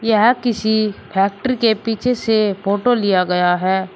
यह किसी फैक्ट्री के पीछे से फोटो लिया गया है।